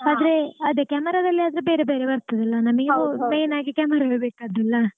ಆದ್ರೆ ಅದೇ camera ದಲ್ಲಿ ಆದ್ರೆ ಬೇರೆ ಬೇರೆ ಬರ್ತದಲ್ಲ ನಮಗೆ main ಆಗಿ camera ವೇ ಬೇಕಾದ್ದಲ್ಲ.